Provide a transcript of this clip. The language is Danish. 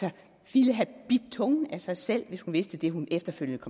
ville have bidt tungen af sig selv hvis hun vidste det hun efterfølgende